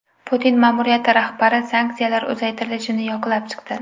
Putin ma’muriyati rahbari sanksiyalar uzaytirilishini yoqlab chiqdi.